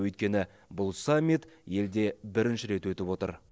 өйткені бұл саммит елде бірінші рет өтіп отыр